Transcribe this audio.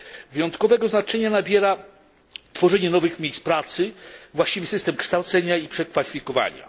Wyjątkowego znaczenia nabiera tworzenie nowych miejsc pracy, właściwy system kształcenia i przekwalifikowania.